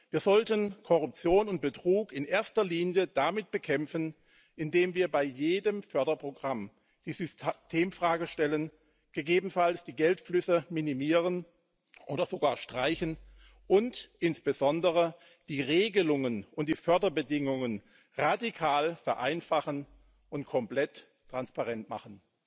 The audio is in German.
Wir sollten Korruption und Betrug in erster Linie damit bekämpfen, indem wir bei jedem Förderprogramm die Systemfrage stellen, gegebenenfalls die Geldflüsse minimieren oder sogar streichen und insbesondere die Regelungen und die Förderbedingungen radikal vereinfachen und komplett transparent machen.